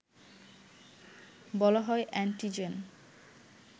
বলা হয় অ্যান্টিজেন